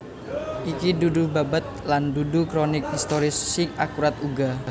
Iki dudu babad lan dudu kronik historis sing akurat uga